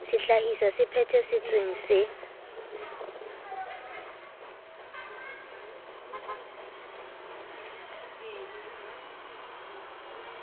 sehlahiswa se phethe tsweng se